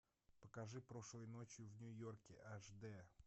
покажи прошлой ночью в нью йорке аш д